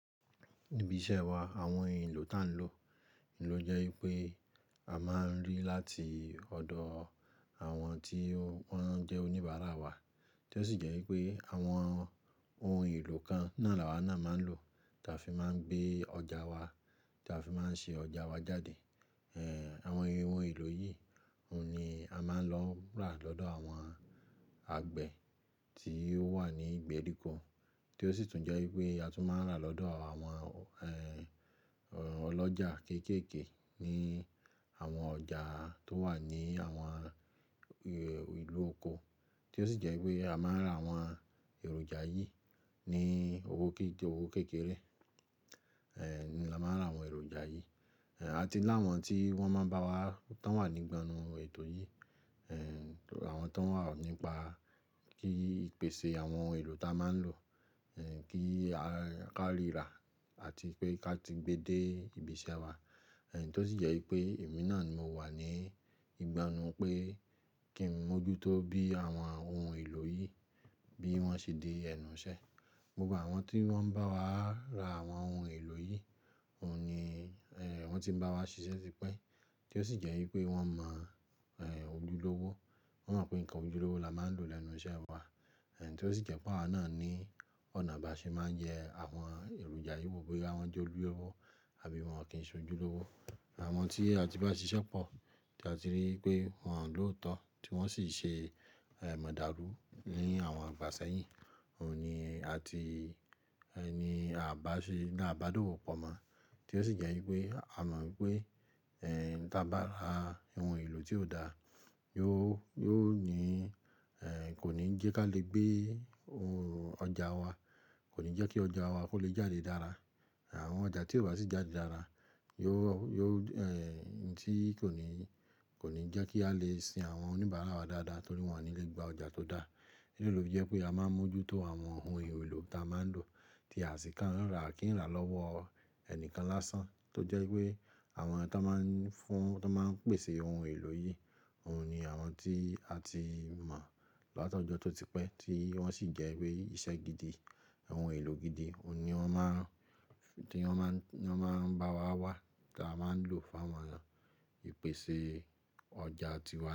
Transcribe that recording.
Ibi iṣẹ́ wa àwọn èlò tá ń lò ló jẹ́ wípé a máa ń rí láti ọ̀dọ̀ àwọn tí wọ́n jẹ́ oníbàárà wa, tí ó sì jẹ́ wípé àwọn ohun èlò kan náà làwa náà máa ń lò táa fi máa ń gbé ọjà wa, táa fi máa ń ṣe ọjà wa jáde. Eh, àwọn ohun èlò yìí òun ni a máa ń lọ rà lọ́dọ̀ àwọn àgbẹ̀ tí ó wà ní ìgbèríko, tí ó sì tún jẹ́ wípé a tún máa ń rà lọ́dọ̀ àwọn eh, ọlọ́jà kéékèèké ní àwọn ọjà tó wà ní àwọn eh, ìlú oko, tí ó sì jẹ́ wípé a máa ń ra àwọn èròjà yìí ní owó ké-ké owó kékeré. Eh, ni a máa ń ra àwọn èròjà yìí, àti láwọn tí wọ́n máa ń bá, tá ń wà ní nígbònú ètò yìí, eh, àwọn tó ń wà nípa kí ìpèsè àwọn ohun èlò tá a máa ń lò, kí á ka ríra àti pé ká ti gbe dé ibi iṣẹ́ wa. Eh, tí ó sì jẹ́ wípé èmi náà ni mo wà ní ìgbà ẹnu pé kí ń mójútó bí àwọn ohun èlò yìí bí wọ́n ṣe dé ẹnu iṣẹ́. Gbogbo àwọn tí wọ́n bá wa ra àwọn ohun èlò yìí òun ni eh, wọ́n ti ń bá wa ṣiṣẹ́ típẹ́, tí ó sì jẹ́ wípé wọ́n mọ eh, ojúlówó, wọ́n mọ̀ pé nǹkan ojúlówó la máa ń lò lẹ́nu iṣẹ́ wa. Eh, tí ó sì jẹ́ pé àwa náà ní ọ̀nà ba ṣe máa ń jẹ àwọn èròjà yìí wo bóyá wọn jẹ́ ojúlówó àbí wọn kì í ṣe ojúlówó. Àwọn tí a ti bá ṣíṣọ́pọ̀ tí a ti rí i pé wọ́n lòótọ́ tí wọ́n sì ṣe ẹ̀ mọ̀dàrú ní àwọn ìgbà sẹ́yìn, òun ni a ti, òun ni a bá ṣe lá bádòwo pọ̀ mọ́, tí ó sì jẹ́ wípé a mọ̀ wípé eh, tí a bá ra ohun èlò tí ò da yóò, yóò ní eh, kò ní jẹ́ ká lè gbé ohun ọjà wa, kò ní jẹ́ kí ọjà wa kó lè jáde dára. Àwọn ọjà tí ò bá sì jáde dára yóò, yóò eh, tí kò ní, kò ní jẹ́ kí a lè sin àwọn oníbàárà wa dáadáa torí wọ́n ò ní lè gba ọjà tó dá. Ìdí ní tí ò fè jẹ́ pé a máa ń mójútó àwọn ohun èlò táa máa ń lò tí a sì ká ń rà à kí ń rà lọ́wọ́ ẹnìkan lásán, tó jẹ́ wípé àwọn tí wọ́n máa ń fún, tí wọ́n máa ń pèsè ohun èlò yìí òun ni àwọn tí a ti mọ̀ látọ̀jọ́ tó ti pẹ́ tí wọ́n sì jẹ́ wípé iṣẹ́ gidi, ohun èlò gidi òun ni wọ́n má, tí wọ́n má, tí wọ́n máa ń bá wa wá táa máa ń lò fún àwọn ìpèsè ọjà tí wọ́n.